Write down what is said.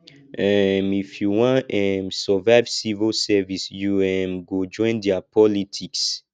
um if you wan um survive civil service you um go join their politics